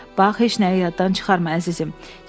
Bax, heç nəyi yaddan çıxarma, əzizim.